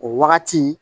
O wagati